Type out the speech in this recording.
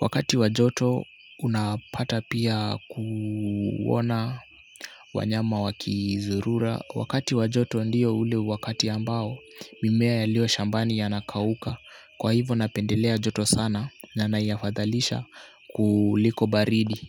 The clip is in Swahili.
wakati wa joto unapata pia kuona wanyama wakizurura, wakati wa joto ndio ule wakati ambao mimea ilio shambani inakauka kwa hivo napendelea joto sana na yafadhalisha kuliko baridi.